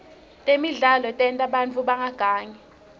temidlalo tenta bantfu bangagangi